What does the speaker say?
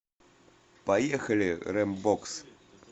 поехали рембокс